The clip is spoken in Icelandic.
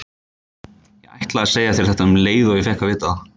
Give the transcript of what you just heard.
Ég ætlaði að segja þér þetta um leið og ég fékk að vita það.